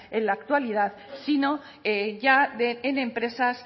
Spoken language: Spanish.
en la actualidad sino ya en empresas